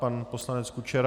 Pan poslanec Kučera?